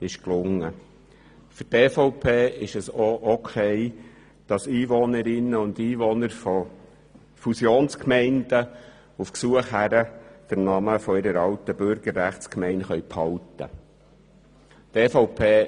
Für die EVP ist es auch in Ordnung, dass die Einwohnerinnen und Einwohner von Fusionsgemeinden auf Gesuch hin den Namen ihrer alten Bürgerrechtsgemeinde behalten können.